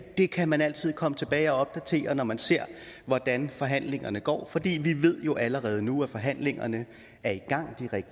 det kan man altid komme tilbage og opdatere når man ser hvordan forhandlingerne går for vi vi ved jo allerede nu at forhandlingerne er i gang